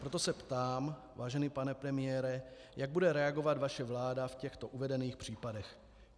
Proto se ptám, vážený pane premiére, jak bude reagovat vaše vláda v těchto uvedených případech.